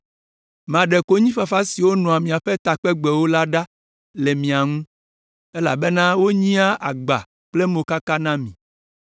“Maɖe konyifafa siwo nɔa miaƒe takpegbewo la ɖa le mia ŋu, elabena wonyea agba kple mokaka na mi.